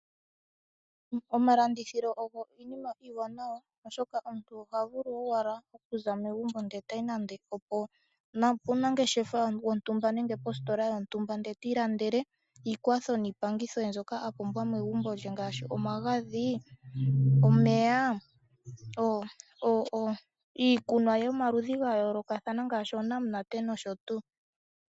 Omalandithilo ogo oshinima oshiwanawa, oshoka omuntu oha vulu owala okuza megumbo eta yi nando opomunangeshefa wontumba nenge positola yotumba eti ilandele iikwatho niipangitho mbyoka a pumbwa megumbo lye ngaashi omagadhi, omeya niikunwa yomaludhi ga yoolokathana ngaashi onamunate nosho tuu.